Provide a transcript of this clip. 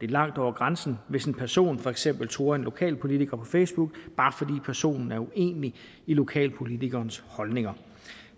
det er langt over grænsen hvis en person for eksempel truer en lokalpolitiker på facebook bare fordi personen er uenig i lokalpolitikerens holdninger